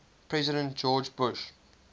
president george bush